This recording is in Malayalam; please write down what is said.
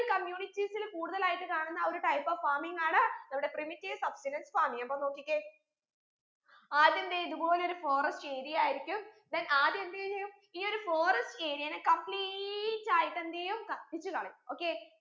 ആയിട്ട് കാണുന്ന ആ ഒരു type of farming ആണ് നമ്മുടെ primitive substenance farming അപ്പൊ നോക്കിക്കേ ആദ്യം ദെ ഇത് പോലൊരു forest area ആയിരിക്കും then ആദ്യം എന്ത് യ്യെയ്യും ഈ forest area നെ complete ആയിട്ട് എന്തെയ്യും കത്തിച്ച് കളയും okay